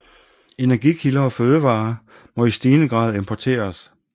Energikilder og fødevarer må i stigende grad importeres